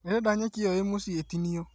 Ndĩrenda nyeki ĩyo ĩ mũciĩ ĩtinio